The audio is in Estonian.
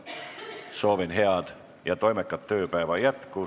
Soovin head ja toimekat tööpäeva jätku.